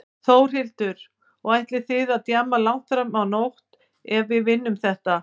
Þórhildur: Og ætlið þið að djamma langt fram á nótt ef við vinnum þetta?